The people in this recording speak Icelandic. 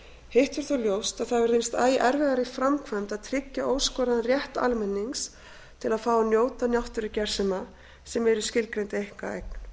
hitt er þó ljóst að það hefur reynst æ erfiðara í framkvæmd að tryggja óskoraðan rétt almennings til að fá að njóta náttúrugersema sem eru í skilgreindri einkaeign